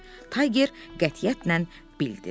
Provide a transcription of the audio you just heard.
Tayger qətiyyətlə bildirdi.